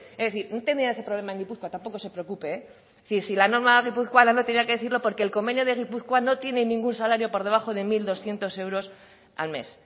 es decir no tendrían ese problema en gipuzkoa tampoco se preocupe es decir si la norma guipuzcoana no tenía que decirlo porque el convenio de gipuzkoa no tienen ningún salario por debajo de mil doscientos euros al mes